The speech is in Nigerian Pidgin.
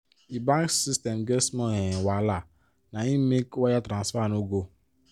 the bank system get small um wahala na im make wire transfer no go